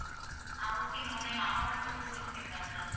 ஆஹ் okay ma'am நீங்க amount பத்தி சொல்றீங்களா ma'am